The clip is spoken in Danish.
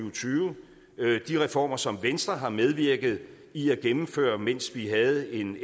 og tyve de reformer som venstre har medvirket i at gennemføre mens vi havde en